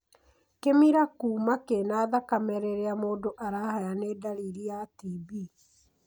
Kĩmira kũuma kĩna thakame rĩria mũndu arahaya nĩ ndariri ya TB.